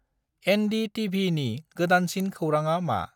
एन्. D. टि.भि.नि गोदानसिन खौरांआ मा?